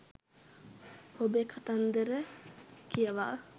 ඔබේ කතන්දර කියවා